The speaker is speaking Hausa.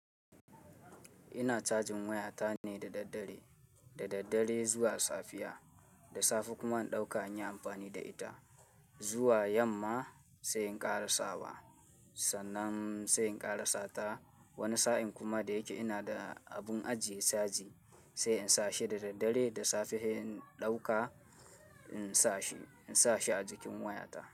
Ina cajin waya ta ne da daddare, da daddare zuwa safiya, da safe kuma in ɗauka inyi amfani da ita, zuwa yamma sai in kara sawa sannan sai in kara sata. Wani sa'in kuma da yake ina da abun ajiye caji sai in sa shi da daddare da safe he in ɗauka in sa shi, in sa shi a jikin waya ta.